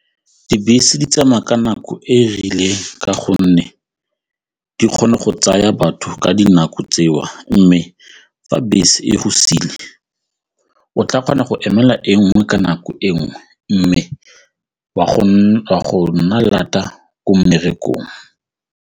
Dibese di tsamaya ka nako e e rileng ka gonne di kgone go tsaya batho ka dinako tseo mme fa bese e go siile o tla kgona go emela e nngwe ka nako e nngwe mme wa go nna lata ko mmerekong.